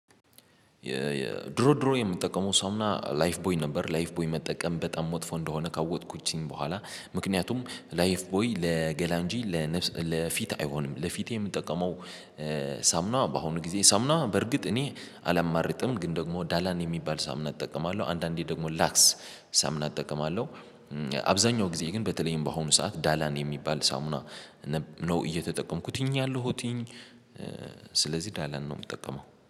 የድሮ ድሮ የምጠቀመው ሰውና ላይፍ ቦይ ነበር ላይፍ ቦይ መጠቀም በጣም መጥፎ እንደሆነ ካወጥኩችኝ በኋላ ምክንያቱም ላይፍ ቦይ ለገላ እንጂ ለፊት አይሆንም ለፊቴ የምጠቀመው። በአሁኑ ጊዜ ሳሙና በርግጥ እኔ አላማርጥም ግን ደግሞ ዳላን የሚባል ሳሙና እጠቀማለሁ አንዳንዴ ደግሞ ላክስ ሳሙና እጠቀማለሁ። አብዛኛው ጊዜ ግን በተለይም በአሁኑ ሰዓት ዳላን የሚባል ሳሙና ነው እየተጠቀምኩትኝ ያለሁትኝ። ስለዚህ ዳላን ነው የምጠቀመው